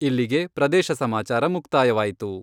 ಇಲ್ಲಿಗೆ ಪ್ರದೇಶ ಸಮಾಚಾರ ಮುಕ್ತಾಯವಾಯಿತು.